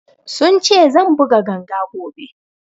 Sun ce zan buga ganga gobe